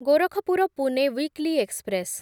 Gorakhpur Pune weekly express